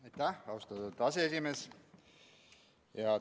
Aitäh, austatud aseesimees!